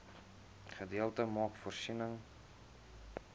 gedeelte maak voorsiening